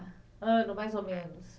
Ano, mais ou menos?